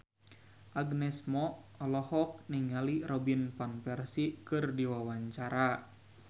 Agnes Mo olohok ningali Robin Van Persie keur diwawancara